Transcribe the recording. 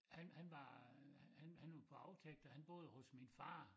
Han han var han han var på aftægt og han boede hos min far